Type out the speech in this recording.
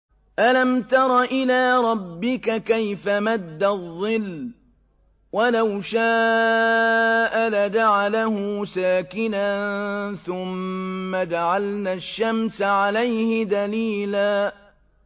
أَلَمْ تَرَ إِلَىٰ رَبِّكَ كَيْفَ مَدَّ الظِّلَّ وَلَوْ شَاءَ لَجَعَلَهُ سَاكِنًا ثُمَّ جَعَلْنَا الشَّمْسَ عَلَيْهِ دَلِيلًا